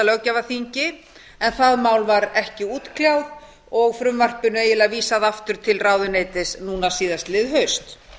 löggjafarþingi en það mál var ekki útkljáð og frumvarpinu eiginlega vísað aftur til ráðuneytis núna síðastliðið haust